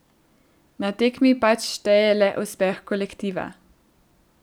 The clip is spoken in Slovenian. Na tekmi pač šteje le uspeh kolektiva.